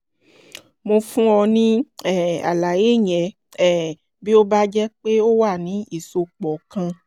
(mo fún ọ ní um àlàyé yẹn um bí ó bá jẹ́ pé ó wà ní ìsopọ̀ kan)